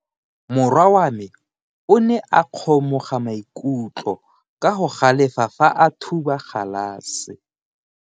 Morwa wa me o ne a kgomoga maikutlo ka go galefa fa a thuba galase.